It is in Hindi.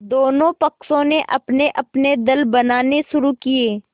दोनों पक्षों ने अपनेअपने दल बनाने शुरू किये